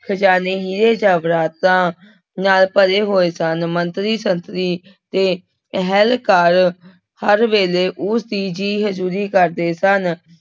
ਖ਼ਜ਼ਾਨੇ ਹੀਰੇ ਜਵਾਹਰਤਾਂ ਨਾਲ ਭਰੇ ਹੋਏ ਸਨ ਮੰਤਰੀ ਸੰਤਰੀ ਤੇ ਅਹਿਲਕਾਰ ਹਰ ਵੇਲੇ ਉਸਦੀ ਜੀ ਹਜ਼ੂਰੀ ਕਰਦੇ ਸਨ।